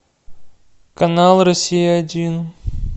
канал россия один